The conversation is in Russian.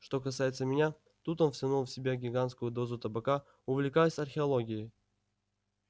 что касается меня тут он втянул в себя гигантскую дозу табака увлекаюсь археологией